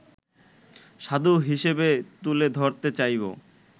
সাধু হিসেবে তুলে ধরতে চাইব